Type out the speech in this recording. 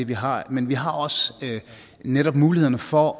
vi har men vi har også netop mulighederne for